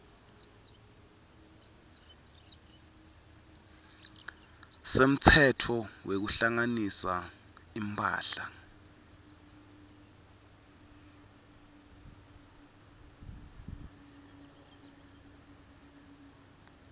semtsetfo wekuhlanganisa imphahla